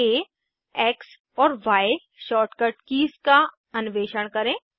आ X और Y shortcut keys का अन्वेषण करें